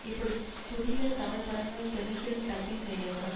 இப்படி புதிய தமிழ் படங்கள் தெலுங்கில் டப்பிங் செய்யப்படும்